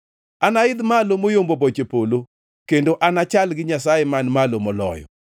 Anaidh malo moyombo boche polo; kendo anachal gi Nyasaye Man Malo Moloyo.”